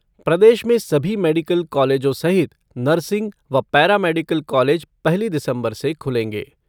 प्रदेश में सभी मैडिकल कॉलेजों सहित नर्सिंग व पैरामैडिकल कॉलेज पहली दिसम्बर से खुलेंगे।